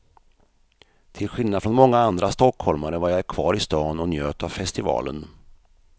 Till skillnad från många andra stockholmare var jag kvar i stan och njöt av festivalen.